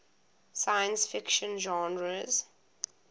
science fiction genres